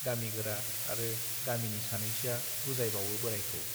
गामि गोरा आरो गामिनि सानैसोआ बुजायबावो बोराइखौ।